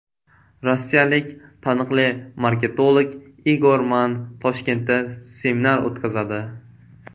Rossiyalik taniqli marketolog Igor Mann Toshkentda seminar o‘tkazadi.